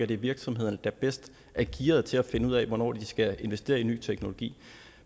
det er virksomhederne der bedst er gearet til at finde ud af hvornår de skal investere i ny teknologi